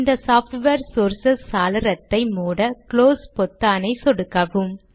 இந்த software sources சாளரத்தை மூட க்ளோஸ் பொத்தானை சொடுக்கவும்